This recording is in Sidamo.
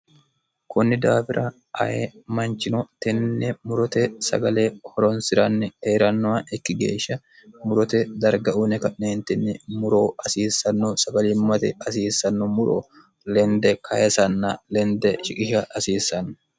kunni daafira aye manchino tenne murote sagale horonsi'ranni heerannowa ikki geeshsha murote darga uune ka'neentinni muro asiissanno sagalimmate asiissanno muro lende kayesanna lende shiqisha hasiissanno